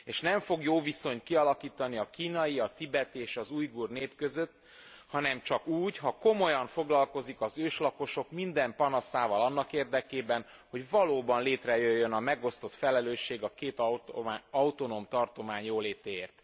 És nem fog jó viszonyt kialakítani a kínai, a tibeti és az ujgur nép között, hanem csak úgy, ha komolyan foglalkozik az őslakosok minden panaszával annak érdekében, hogy valóban létrejöjjön a megosztott felelősség a két autonóm tartomány jólétéért.